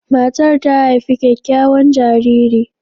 Matar ta haifi kyakkyawan jariri.